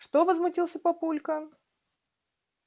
что возмутился папулька